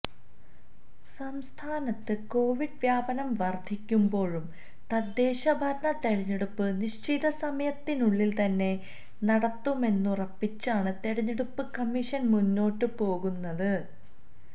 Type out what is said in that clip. സംസ്ഥാനത്ത് കൊവിഡ് വ്യാപനം വർധിക്കുമ്പോഴും തദ്ദേശ ഭരണ തെരഞ്ഞെടുപ്പ് നിശ്ചിത സമയത്തിനുള്ളിൽ തന്നെ നടത്തുമെന്നുറപ്പിച്ചാണ് തെരഞ്ഞെടുപ്പ് കമ്മീഷൻ മുന്നോട്ട് പോകുന്നത്